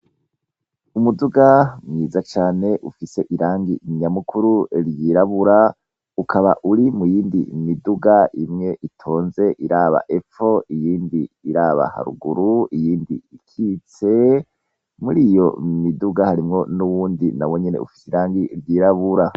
Umuduga mwiza cane ufise irangi nyamukuru ryirabura, ukaba uri muyindi miduga imwe itonze iraba epfo iyindi iraba ruguru, iyindi ikitse, muriyo miduga harimwo n'uwundi nawonyene ufise irangi ryirabura.